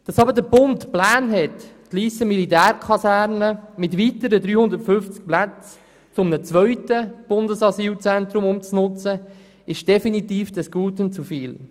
Die Pläne des Bundes, die Lysser Militärkaserne mit weiteren 350 Plätzen zu einem zweiten Bundesasylzentrum um zu nutzen, sind jedoch definitiv des Guten zu viel.